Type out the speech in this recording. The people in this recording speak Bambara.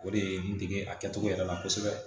O de ye n dege a kɛcogo yɛrɛ la kosɛbɛ